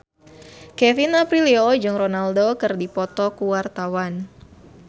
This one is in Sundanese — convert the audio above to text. Kevin Aprilio jeung Ronaldo keur dipoto ku wartawan